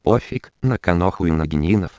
пофиг на коноху и ноги